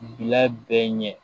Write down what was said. Bila bɛɛ ɲɛ